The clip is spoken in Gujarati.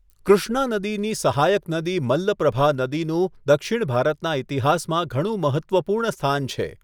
કૃષ્ણા નદીની સહાયક નદી મલ્લપ્રભા નદીનું દક્ષિણ ભારતના ઈતિહાસમાં ઘણું મહત્ત્વપૂર્ણ સ્થાન છે.